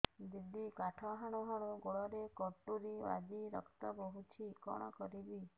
ଦିଦି କାଠ ହାଣୁ ହାଣୁ ଗୋଡରେ କଟୁରୀ ବାଜି ରକ୍ତ ବୋହୁଛି କଣ କରିବି